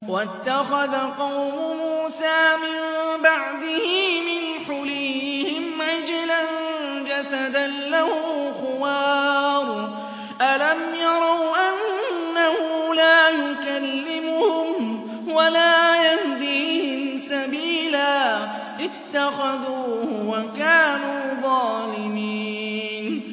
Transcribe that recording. وَاتَّخَذَ قَوْمُ مُوسَىٰ مِن بَعْدِهِ مِنْ حُلِيِّهِمْ عِجْلًا جَسَدًا لَّهُ خُوَارٌ ۚ أَلَمْ يَرَوْا أَنَّهُ لَا يُكَلِّمُهُمْ وَلَا يَهْدِيهِمْ سَبِيلًا ۘ اتَّخَذُوهُ وَكَانُوا ظَالِمِينَ